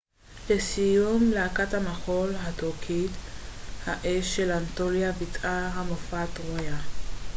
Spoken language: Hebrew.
לסיום להקת המחול הטורקית האש של אנטוליה ביצעה את המופע טרויה